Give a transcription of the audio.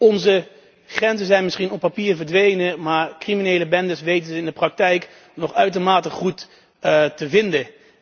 Onze grenzen zijn misschien op papier verdwenen, maar criminele bendes weten ze in de praktijk nog uitermate goed te vinden.